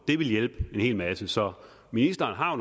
det ville hjælpe en hel masse så ministeren har